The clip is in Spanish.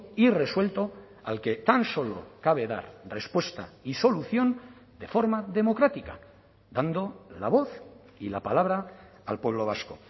irresuelto al que tan solo cabe dar respuesta y solución de forma democrática dando la voz y la palabra al pueblo vasco